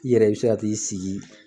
I yɛrɛ i be se ka t'i sigi